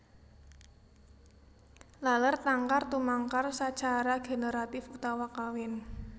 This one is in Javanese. Laler tangkar tumangkar sacara generatif utawa kawin